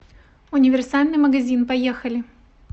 универсальный магазин поехали